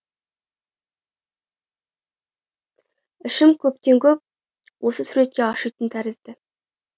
ішім көптен көп осы суретке ашитын тәрізді